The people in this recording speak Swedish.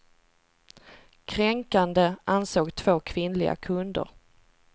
Kränkande, ansåg två kvinnliga kunder.